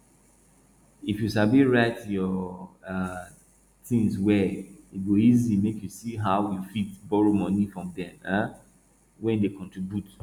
if you sabi write your um tins well e go easy make you see how you fit borrow money from dem um wey dey contribute